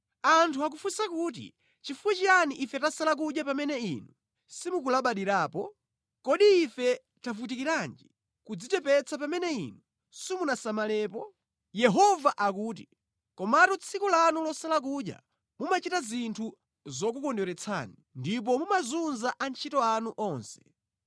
Anthu akufunsa kuti, ‘Chifukwa chiyani ife tasala kudya pamene Inu simukulabadirapo? Kodi ife tavutikiranji nʼkudzichepetsa pamene Inu simunasamalepo?’ ” Yehova akuti, “Komatu tsiku lanu losala kudya, mumachita zinthu zokukondweretsani, ndipo mumazunza antchito anu onse.